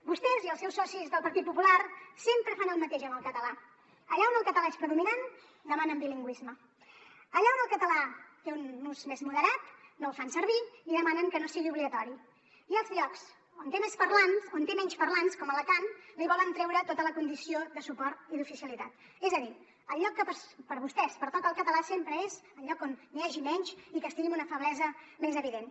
vostès i els seus socis del partit popular sempre fan el mateix amb el català allà on el català és predominant demanen bilingüisme allà on el català té un ús més moderat no el fan servir i demanen que no sigui obligatori i als llocs on té menys parlants com a alacant li volen treure tota la condició de suport i d’oficialitat és a dir el lloc que per a vostès pertoca al català sempre és el lloc on n’hi hagi menys i que estigui en una feblesa més evident